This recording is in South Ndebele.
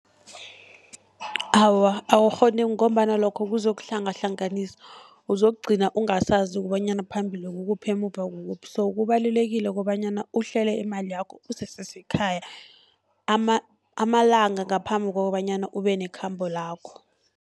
Awa, awukghone ngombana lokho kuzokuhlangahlanganisa, uzokugcina ungasazi kobanyana phambili kukuphi emuva kukuphi. So kubalulekile kobanyana uhlele imali yakho usese sekhaya, amalanga ngaphambi kokobanyana ube nekhambo lakho.